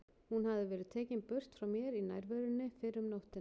Hún hafði verið tekin burt frá mér í nærverunni fyrr um nóttina.